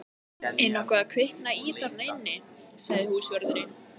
Er nokkuð að kvikna í þarna inni? sagði húsvörðurinn.